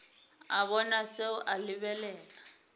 a bona seo a lebelela